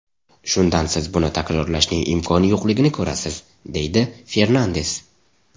Shundan siz buni takrorlashning imkoni yo‘qligini ko‘rasiz”, deydi Fernandes.